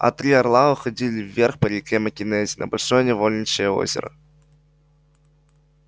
а три орла уходил вверх по реке маккензи на большое невольничье озеро